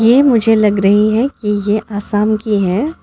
ये मुझे लग रही है कि ये असम की है।